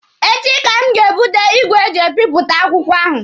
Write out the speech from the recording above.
Echi ka m ga-ebute igwe eji ebipụta akwụkwọ ahụ.